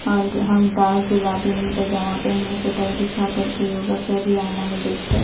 और हाऊ डार्क गुलाबी में पाजामा पहनी है चटाई बिछा कर के योगा कर रही है आइना में देखकर।